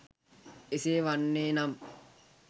එසේ වන්නේ නම්